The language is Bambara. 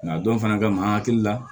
Nka dɔ fana ka an hakili la